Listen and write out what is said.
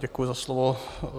Děkuji za slovo.